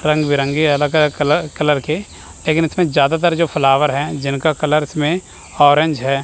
रंग बिरंगी अलग अलग कलर के लेकिन इसमें ज्यादातर जो फ्लावर है जिनका कलर इसमें ऑरेंज है।